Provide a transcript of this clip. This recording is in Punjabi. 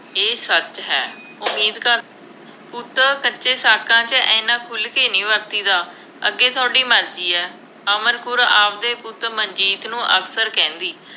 ਇਹ ਸੱਚ ਹੈ ਪੁੱਤਰ ਕੱਚੇ ਸਾਕਾਂ 'ਚ ਐਨਾ ਖੁੱਲ੍ਹ ਕੇ ਨਹੀਂ ਵਰਤੀਦਾ, ਅੱਗੇ ਤੁਹਾਡੀ ਮਰਜ਼ੀ ਹੈ, ਅਮਰ ਕੌਰ ਆਪਦੇ ਪੁੱਤ ਮਨਜੀਤ ਨੂੰ ਅਕਸਰ ਕਹਿੰਦੀ।